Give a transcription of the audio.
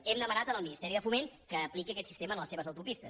hem demanat al ministeri de foment que apliqui aquest sistema en les seves autopistes